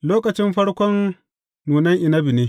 Lokacin farkon nunan inabi ne.